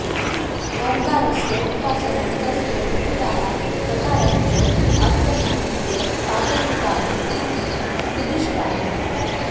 ओङ्कारस्य उपासनं तस्य विविधाः प्रकाराश्च आत्मज्ञानस्य साधनभूतानि इति निर्दिष्टानि